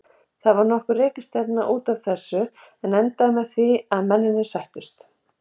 Það varð nokkur rekistefna út af þessu en endaði með því að mennirnir sættust.